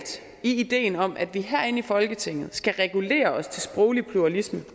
ideen om at vi herinde i folketinget skal regulere os til sproglig pluralisme